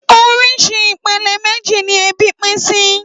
Óriṣì ipélé méji ni èbí pin si